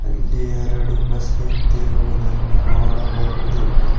ಅಲ್ಲಿ ಎರಡು ಬಸ್ ನಿಂತಿರುವುದನ್ನು ನೋಡಬಹುದು.